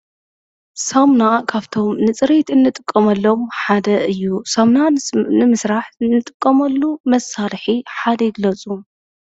ሳሙና ካፍቶም ንፅሬት እንጥቀመሎም ሓደ እዩ። ሳሙና ንምስራሕ እንጥቀመሉ መሳርሒ ሓደ ግለፁ?